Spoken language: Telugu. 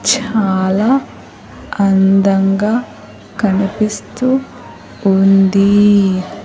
చాలా అందంగా కనిపిస్తూ ఉంది.